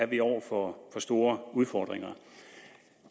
vi over for store udfordringer